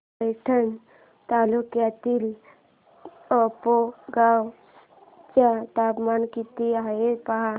पैठण तालुक्यातील आपेगाव चं तापमान किती आहे पहा